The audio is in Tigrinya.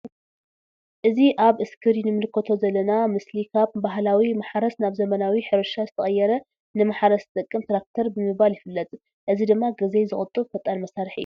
እዚ ኣብ እስክሪን ንምልከቶ ዘለና ምስሊ ካብ ባህላዊ ማሕረስ ናብ ዘመናዊ ሕርሻ ዝተቀየረ ን ማሕረስ ዝጠቅም ትራክተር ብምባል ይፍለጥ። እዚ ድማ ግዜ ዝቁጡብ ፈጣን መሳርሒ እዩ።